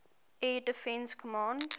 air defense command